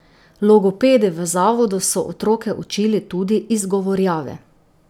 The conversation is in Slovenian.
Logopedi v zavodu so otroke učili tudi izgovarjave.